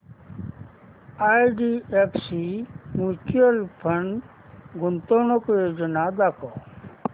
IDFC mutual fund गुंतवणूक योजना दाखव